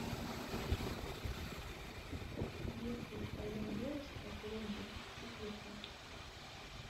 если твоя девушка зомби четырка